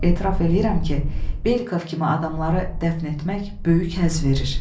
Etiraf eləyirəm ki, Belikov kimi adamları dəfn etmək böyük həzz verir.